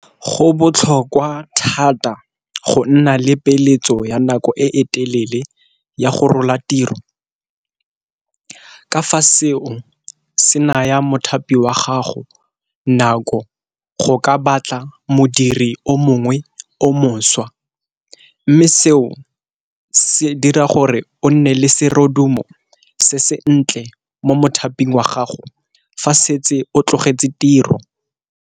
Go botlhokwa thata go nna le peeletso ya nako e telele ya go rola tiro ka fa seo se naya mothapi wa gago nako go ka batla modiri o mongwe o mošwa, mme seo se dira gore o nne le serodumo se sentle mo mothaping wa gago fa setse o tlogetse tiro.